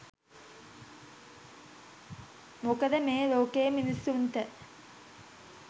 මොකද මේ ලෝකෙ මිනිස්සුන්ට